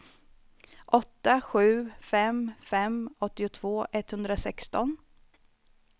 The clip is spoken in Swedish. åtta sju fem fem åttiotvå etthundrasexton